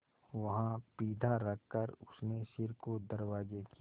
वहाँ पीढ़ा रखकर उसने सिर को दरवाजे की